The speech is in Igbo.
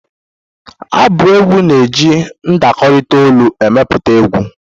Abụ egwu na-eji ndakọrịta olu emepụta egwu.